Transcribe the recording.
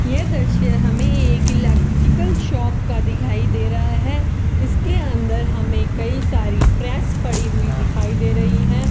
ये दृश्य हमे एक इलेट्रिकल शॉप का दिखाई दे रहा है इसके अंदर हमें कई सारी प्रेस पड़ी हुई दिखाई दे रही है।